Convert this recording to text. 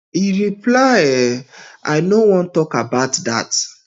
e reply um i no wan tok about dat